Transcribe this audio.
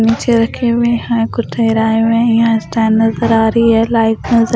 नीचे रखे हुए हैं कुछ हुए हैं यहाँ स्टैंड नज़र आ रही है लाईट नज़र--